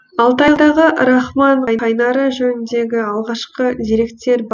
алтайдағы рахман қайнары жөніндегі алғашқы деректер